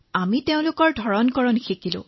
আমি তেওঁলোকৰ ভাষা লক্ষ্য কৰিলো